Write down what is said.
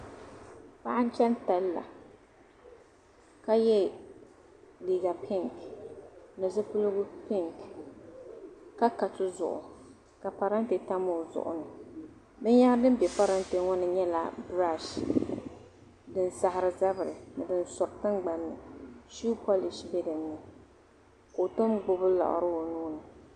Paɣi n chani talla ka ye liiga pink, nizupilgu pink ka ,katuzu gu ka parante tam ozuɣuni. bin yahiri din be parante ŋɔni brashi din sahiri zabiri ni din sori tin gbanni shuw polishi be dini ka tom. gbubi liɣiri onyini.